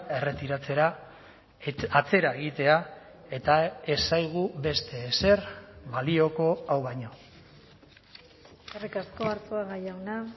erretiratzera atzera egitea eta ez zaigu beste ezer balioko hau baino eskerrik asko arzuaga jauna